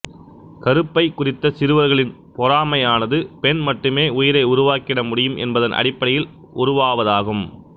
கருப்பைக் குறித்த சிறுவர்களின் பொறாமையானது பெண் மட்டுமே உயிரை உருவாக்கிட முடியும் என்பதன் அடிப்படையில் உருவாவதாகும்